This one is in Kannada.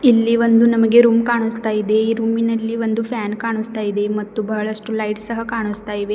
ಇಲ್ಲಿ ಒಂದು ನಮಗೆ ರೂಮ್ ಕಾಣುಸ್ತಾ ಇದೆ ಈ ರೂಮಿ ನಲ್ಲಿ ಒಂದು ಫ್ಯಾನ್ ಕಾಣುಸ್ತಾ ಇದೆ ಮತ್ತು ಬಹಳಷ್ಟು ಲೈಟ್ಸ್ ಸಹ ಕಾಣಿಸ್ತಾ ಇವೆ.